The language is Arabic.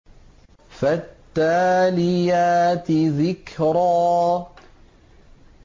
فَالتَّالِيَاتِ ذِكْرًا